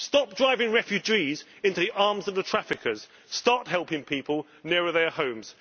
Stop driving refugees into the arms of the traffickers. Start helping people nearer their homes.